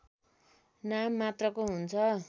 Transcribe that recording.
नाम मात्रको हुन्छ